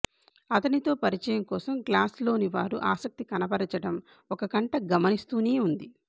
అతని తో పరిచయం కోసం క్లాస్ లోని వారు ఆసక్తి కనకనబరచటం ఒక కంట గమనిస్తూనే ఉంది